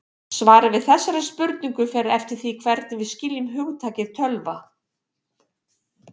svarið við þessari spurningu fer eftir því hvernig við skiljum hugtakið tölva